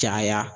Caya